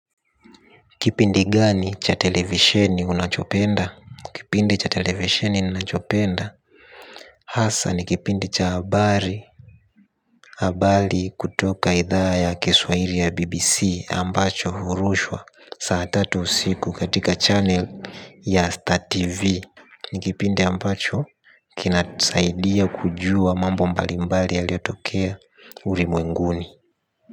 Kipindi gani cha televisheni unachopenda? Kipindi cha televisioni unachopenda? Hasa ni kipindi cha habari. Habari kutoka idhaa ya kiswaili ya BBC Ambacho hurushwa saa tatu usiku katika channel ya Star TV. Ni kipindi ambacho kinanisaidia kujua mambo mbalimbali yaliyotokea ulimwenguni.